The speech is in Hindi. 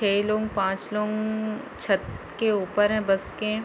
छे लोग पांच लोग छत के ऊपर है बस के--